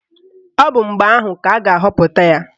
Ọ bụ mgbe ahụ ka a ga-ahọpụta ya.